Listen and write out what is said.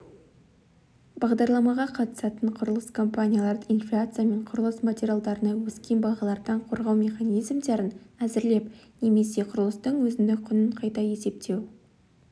бағдарламаға қатысатын құрылыс компанияларды инфляция мен құрылыс материалдарына өскен бағалардан қорғау механизмдерін әзірлеп немесе құрылыстың өзіндік құнын қайта есептеу